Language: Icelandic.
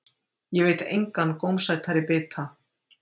Ég veit engan gómsætari bita.